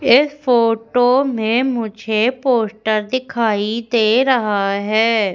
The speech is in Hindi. इस फोटो में मुझे पोस्टर दिखाइ दे रहा है।